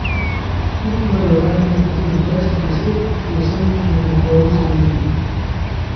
Skupno je ovadenih okoli dvajset oseb, osem jih je v priporu v Sloveniji.